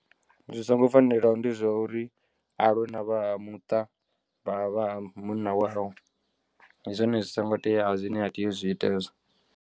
Zwi songo fanelaho ndi zwa uri alwe na vha ha muṱa vha vha munna wawe ndi zwone zwi songo teaho zwine ha tei uzwi ita hezwo.